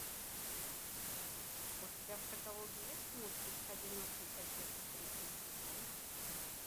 у тебя в каталоге есть мультик одинокий отец третий сезон